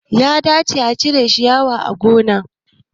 Ya dace a cire shiyawa a gona